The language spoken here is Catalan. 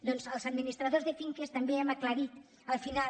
doncs els administradors de finques també hem aclarit al final